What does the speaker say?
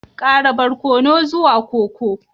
Ƙara barkono zuwa koko